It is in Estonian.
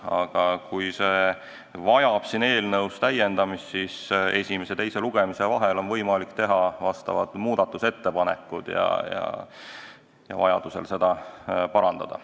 Aga kui eelnõu on vaja täiendada, siis esimese ja teise lugemise vahel on võimalik teha vastavad muudatusettepanekud ja seda parandada.